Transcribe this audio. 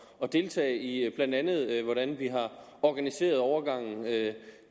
at deltage i blandt andet hvordan vi har organiseret overgangen